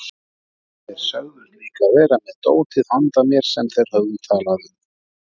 Þeir sögðust líka vera með dótið handa mér sem þeir höfðu talað um.